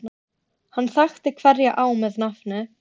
Hann þekkti hverja á með nafni.